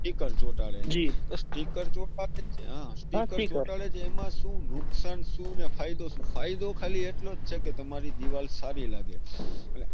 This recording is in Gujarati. Sticker ચોંટાડે જી sticker ચોંટાડે હા sticker ચોંટાડે એમાં સુ નુકસાન સુ અને ફાયદો સુ ફાયદો ખાલી એટલોજ છે કે તમારી દીવાલ સારી લાગે.